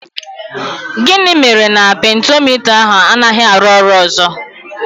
Gịnị mere na pentiomita ahụ anaghị arụ ọrụ ọzọ?